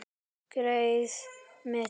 Greyið mitt